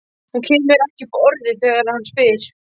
Hún kemur ekki upp orði þegar hann spyr.